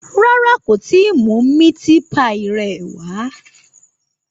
Rárá, kò tí ì mú ẹran píì rẹ̀